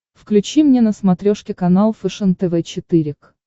включи мне на смотрешке канал фэшен тв четыре к